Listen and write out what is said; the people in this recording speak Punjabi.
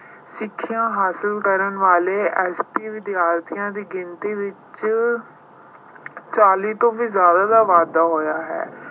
ਸਿੱਖਿਆ ਹਾਸਲ ਕਰਨ ਵਾਲੇ SC ਵਿਦਿਆਰਥੀਆਂ ਦੀ ਗਿਣਤੀ ਵਿੱਚ ਚਾਲੀ ਤੋਂ ਵੀ ਜ਼ਿਆਦਾ ਦਾ ਵਾਧਾ ਹੋਇਆ ਹੈ।